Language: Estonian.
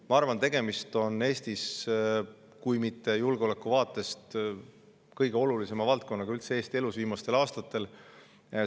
Ma arvan, et tegemist on julgeolekuvaatest ehk kõige olulisema valdkonnaga üldse Eesti elus viimastel aastatel.